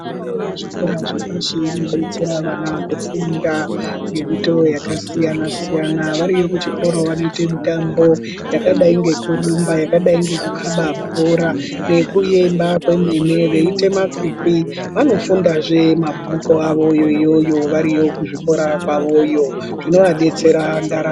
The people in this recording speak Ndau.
Fundo yepazvikora zvepashi inodetsera vana kufunda fundo yakasiyana siyana variyo kuchikora vanoita fundo yakadai ngekurumba yakadai ngekukaba bhora nekuenda kwemene veiita makwikwi vanofunda mabhuku yoyo veifunda mabhuku awo zvinodetsera.